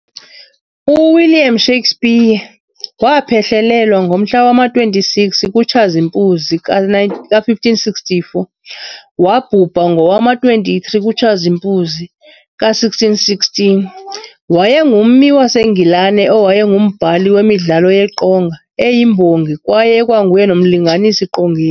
UWilliam Shakespeare, waaphehlelelwa ngomhla wama-26 kuTshazimpuzi ka-1564 - wabhubha ngowama-23 kuTshazimpuzi ka-1616, wayengummi waseNgilane owayengumbhali wemidlalo yeqonga, eyimbongi, kwaye ekwanguye nomlinganisi-qongeni.